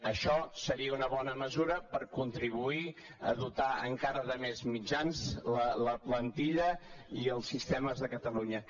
això seria una bona mesura per contribuir a dotar encara de més mitjans la plantilla i els sistemes de catalunya